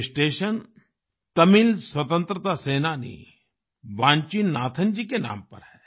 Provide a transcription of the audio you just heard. ये स्टेशन तमिल स्वतंत्रता सेनानी वान्चीनाथन जी के नाम पर है